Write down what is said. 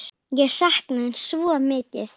Ég sakna þín svo mikið!